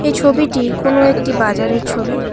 ছবিটি কোনো একটি বাজারের ছবি।